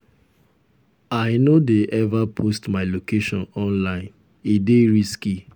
i no dey ever post my location online e dey risky.